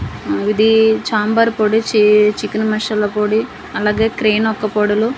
ఇదీ ఛాంబర్ పొడి చీ చికెన్ మషాలా పొడి అలాగే క్రేన్ ఒక్కపొడులు--